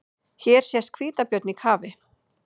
Hér sést hvítabjörn í kafi.